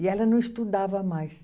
E ela não estudava mais.